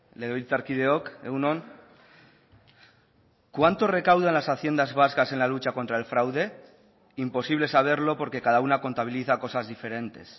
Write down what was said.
legebiltzarkideok egun on cuánto recaudan las haciendas vascas en la lucha contra el fraude imposible saberlo porque cada una contabiliza cosas diferentes